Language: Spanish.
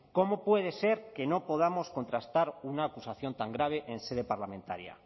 cómo puede ser que no podamos contrastar una acusación tan grave en sede parlamentaria